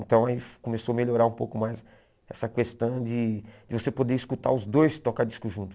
Então aí começou a melhorar um pouco mais essa questão de de você poder escutar os dois toca-discos juntos.